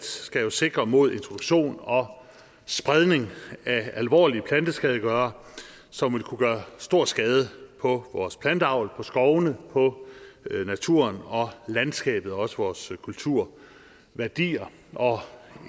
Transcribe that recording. skal jo sikre mod introduktion og spredning af alvorlige planteskadegørere som vil kunne gøre stor skade på vores planteavl på skovene på naturen og landskabet og også vores kulturværdier og